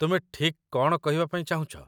ତୁମେ ଠିକ୍ କ'ଣ କହିବା ପାଇଁ ଚାହୁଁଛ ?